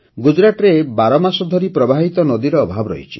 ଗୁଜରାଟରେ ବାରମାସ ଧରି ପ୍ରବାହିତ ନଦୀର ଅଭାବ ରହିଛି